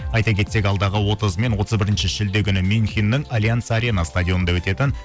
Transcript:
айта кетсек алдағы отызы мен отыз бірінші шілде күні мюнхеннің альянс арена стадионында өтетін